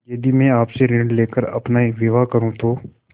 यदि मैं आपसे ऋण ले कर अपना विवाह करुँ तो